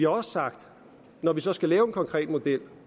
også sagt at når vi så skal lave en konkret model